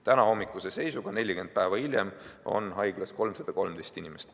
Tänahommikuse seisuga, 40 päeva hiljem, on haiglas 313 inimest.